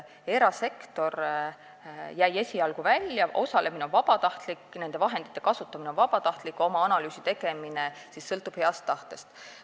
Erasektor jäi esialgu välja, osalemine on vabatahtlik, nende vahendite kasutamine on vabatahtlik, analüüsi tegemine sõltub heast tahtest.